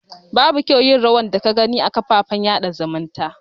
Babu kyau yin rayuwan da ka Gani a kan kafofin sada zumunta.